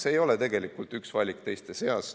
See ei ole tegelikult üks valik teiste seas.